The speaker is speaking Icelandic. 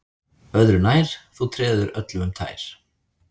Öðru nær, þú treður öllum um tær